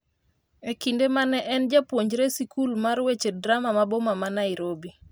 e kinde mane en japuonjre sikul mar weche drama ma Boma ma Nairobi